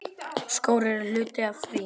Skór eru hluti af því.